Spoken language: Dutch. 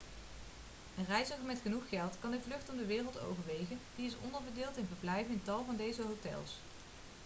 een reiziger met genoeg geld kan een vlucht om de wereld overwegen die is onderverdeeld in verblijven in tal van deze hotels